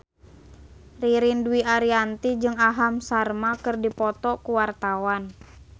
Ririn Dwi Ariyanti jeung Aham Sharma keur dipoto ku wartawan